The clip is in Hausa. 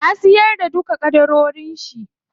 Ya siyar da duka ƙadarorin shi.